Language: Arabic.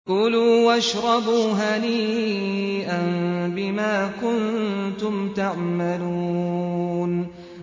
كُلُوا وَاشْرَبُوا هَنِيئًا بِمَا كُنتُمْ تَعْمَلُونَ